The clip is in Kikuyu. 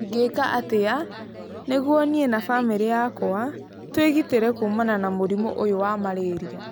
Ingĩka atĩa nĩguo niĩ na famĩrĩ yakwa twĩgitĩre kuumana na mũrimũ ũyũ wa Malaria?